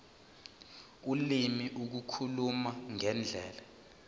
ulimi ukukhuluma ngendlela